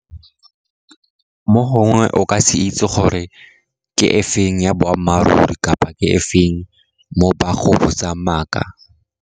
Mo gongwe o ka se itse gore ke e feng ya boammaaruri kapa ke e feng mo ba go botsang maaka.